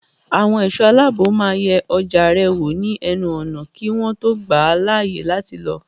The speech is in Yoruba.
Àwọn ẹ̀ṣọ́ aláàbò máa yẹ ọjà rẹ wò ní ẹnu ọ̀nà kí wọ́n tó gbà ọ́ láàyè láti lọ.